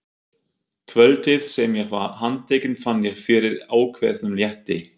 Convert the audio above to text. Kvöldið sem ég var handtekinn fann ég fyrir ákveðnum létti.